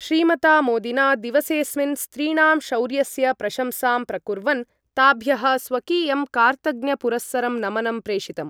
श्रीमता मोदिना दिवसेस्मिन् स्त्रीणां शौर्यस्य प्रशंसां प्रकुर्वन् ताभ्यः स्वकीयं कार्तज्ञपुरस्सरं नमनं प्रेषितम्।